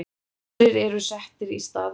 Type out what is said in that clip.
aðrir eru settir í staðinn